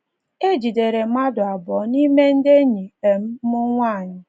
E jidere mmadụ abụọ n’ime ndị enyi um m nwanyị.